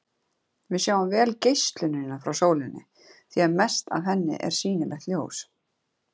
Við sjáum vel geislunina frá sólinni, því mest af henni er sýnilegt ljós.